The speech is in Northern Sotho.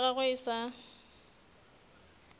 pelo ya gagwe e sa